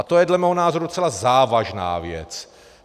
A to je dle mého názoru docela závažná věc.